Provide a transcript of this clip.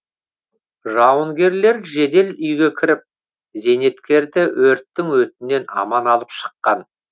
жауынгерлер жедел үйге кіріп зейнеткерді өрттің өтінен аман алып шыққан